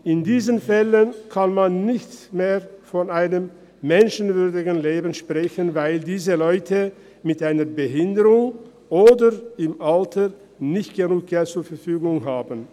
In diesen Fällen kann man nicht mehr von einem menschenwürdigen Leben sprechen, weil diese Leute mit einer Behinderung oder im Alter nicht genug Geld zur Verfügung haben.